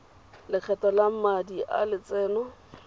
lokgetho lwa madi a lotseno